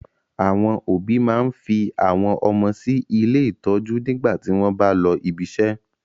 Àwọn òbí máa n fi àwọn ọmọ sí ilé ìtọ́jú nígbà tí wọn bá lọ ibiṣẹ́.